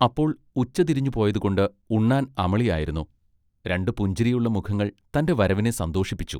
അപ്പോൾ ഉച്ചതിരിഞ്ഞ് പോയതുകൊണ്ട് ഉണ്ണാൻ അമളി ആയിരുന്നു രണ്ടു പുഞ്ചിരിയുള്ള മുഖങ്ങൾ തന്റെ വരവിനെ സന്തോഷിപ്പിച്ചു.